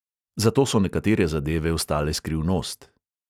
Zato so nekatere zadeve ostale skrivnost.